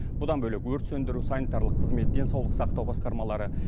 бұдан бөлек өрт сөндіру санитарлық қызмет денсаулық сақтау басқармалары